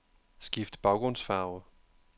Skift baggrundsfarve.